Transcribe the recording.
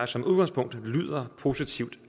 som udgangspunkt lyder positivt